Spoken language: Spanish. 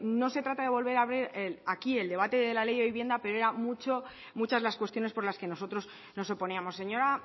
no se trata de volver abrir aquí el debate de la ley de vivienda pero eran muchas las cuestiones por las que nosotros nos oponíamos señora